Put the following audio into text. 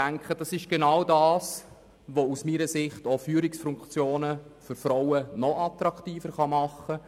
Genau dies kann aus meiner Sicht Führungspositionen für Frauen noch attraktiver machen.